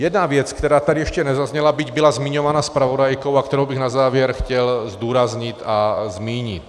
Jedna věc, která tady ještě nezazněla, byť byla zmiňována zpravodajkou, a kterou bych na závěr chtěl zdůraznit a zmínit.